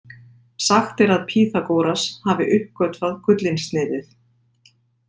Sagt er að Pýþagóras hafi uppgötvað gullinsniðið.